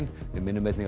við minnum einnig á